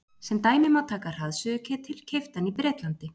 Sem dæmi má taka hraðsuðuketil keyptan í Bretlandi.